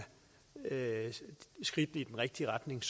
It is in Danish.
skridtene i den rigtige retning